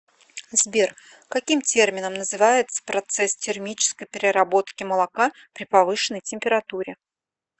сбер каким термином называется процесс термической переработки молока при повышенной температуре